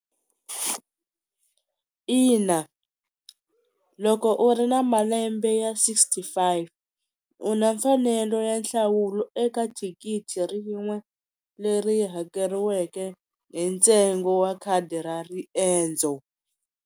Ina loko u ri na malembe ya sixty five u na mfanelo ya nhlawulo eka thikithi rin'we leri hakeriweke hi ntsengo wa khadi ra riendzo.